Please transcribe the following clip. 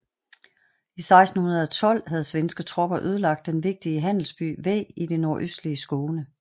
I 1612 havde svenske tropper ødelagt den vigtige handelsby Væ i det nordøstlige Skåne